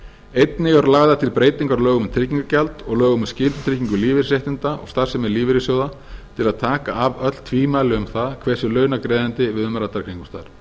einnig eru lagðar til breytingar á lögum um tryggingagjald og lögum um skyldutryggingu lífeyrisréttinda og starfsemi lífeyrissjóða til að taka af öll tvímæli um það hver sé launagreiðandi við umræddar kringumstæður frú